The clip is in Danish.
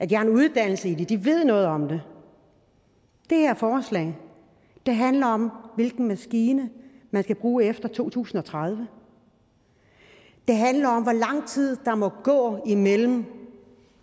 de har en uddannelse i det de ved noget om det det her forslag handler om hvilken maskine man skal bruge efter to tusind og tredive det handler om hvor lang tid der må gå imellem